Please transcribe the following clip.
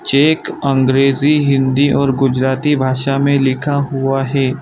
Check अंग्रेजी हिंदी और गुजराती भाषा में लिखा हुआ है।